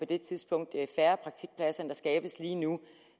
det tidspunkt færre praktikpladser end der skabes lige nu